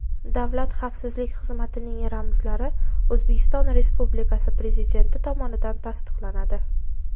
Davlat xavfsizlik xizmatining ramzlari O‘zbekiston Respublikasi Prezidenti tomonidan tasdiqlanadi.